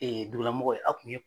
Dugulamɔgɔw ye a tun ye.